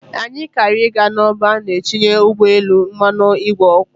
Anyị kara ị ga n'ọba a na-etinye ụgbọelu mmanụ ìgwè oku.